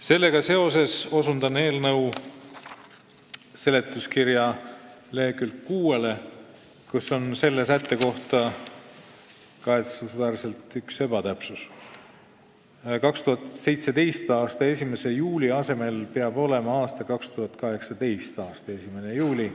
Sellega seoses osutan eelnõu seletuskirja leheküljele 6, kus kahetsusväärselt on selle sätte kohta teksti sattunud üks ebatäpsus: 2017. aasta 1. juuli asemel peab olema 2018. aasta 1. juuli.